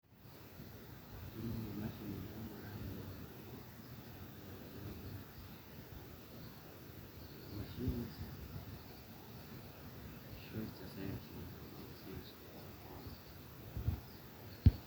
kelimu emashini naingurarieki imoyiaritin irbulabol lena moyian e for